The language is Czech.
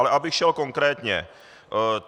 Ale abych šel konkrétně.